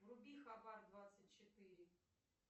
вруби хабар двадцать четыре